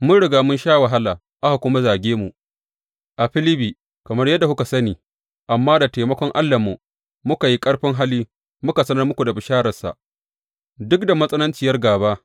Mun riga mun sha wahala, aka kuma zage mu a Filibbi, kamar yadda kuka sani, amma da taimakon Allahnmu muka yi ƙarfin hali muka sanar muku bishararsa duk da matsananciyar gāba.